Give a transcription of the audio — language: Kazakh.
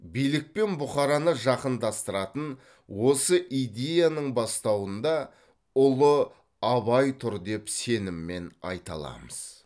билік пен бұқараны жақындастыратын осы идеяның бастауында ұлы абай тұр деп сеніммен айта аламыз